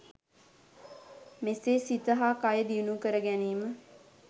මෙසේ සිත හා කය දියුණු කර ගැනීම